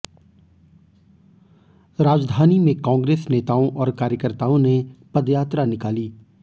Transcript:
राजधानी में कांग्रेस नेताओं और कार्यकर्ताओं ने पदयात्रा निकाली